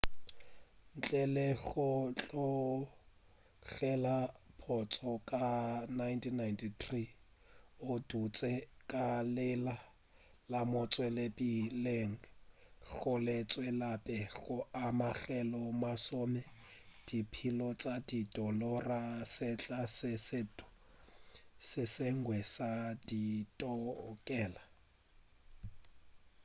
ntle le go tlogela pontšho ka 1993 o dutše ka leina la motšweletšiphethiši gomme a tšwelapele go amogela masome a dimiliona tša di-dolara sehla se sengwe le se sengwe sa ditokelo